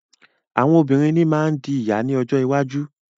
Àwọn obìnrin ní má ń di ìyá ní ọjọ́ iwájú.